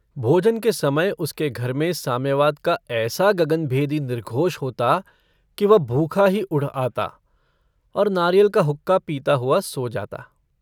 भोजन के समय उसके घर में साम्यवाद का ऐसा गगनभेदी निर्घोष होता कि वह भूखा ही उठ आता और नारियल का हुक्का पीता हुआ सो जाता।